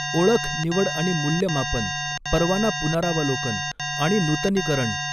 ओळख निवड आणि मूल्यमापन परवाना पुनरावलोकन आणि नूतनीकरण.